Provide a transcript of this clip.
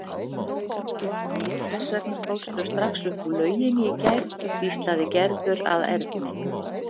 Hvers vegna fórstu strax upp úr lauginni í gær? hvíslaði Gerður að Erni.